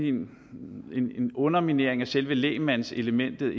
en underminering af selve lægmandselementet